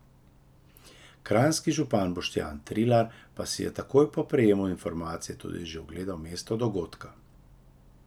Kranjski župan Boštjan Trilar pa si je takoj po prejemu informacije tudi že ogledal mesto dogodka.